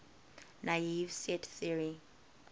naive set theory